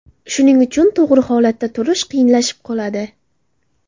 Shuning uchun to‘g‘ri holatda turish qiyinlashib qoladi.